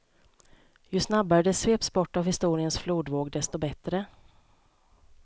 Ju snabbare det sveps bort av historiens flodvåg desto bättre.